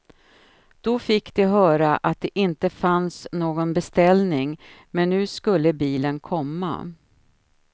Då fick de höra att det inte fanns någon beställning, men nu skulle bilen komma.